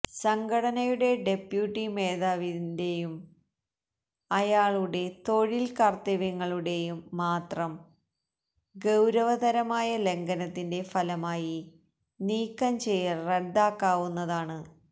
സംഘടനയുടെ ഡെപ്യൂട്ടി മേധാവിന്റേയും അയാളുടെ തൊഴിൽ കർത്തവ്യങ്ങളുടെയും മാത്രം ഗൌരവതരമായ ലംഘനത്തിന്റെ ഫലമായി നീക്കം ചെയ്യൽ റദ്ദാക്കാവുന്നതാണ്